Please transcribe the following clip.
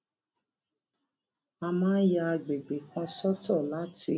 a máa ń ya agbègbè kan sọtọ láti